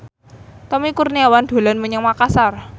Tommy Kurniawan dolan menyang Makasar